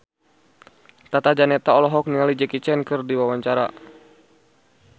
Tata Janeta olohok ningali Jackie Chan keur diwawancara